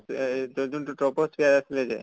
যোনটো troposphere আছিলে যে